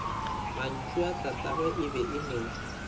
mantšuatatagwe e be e no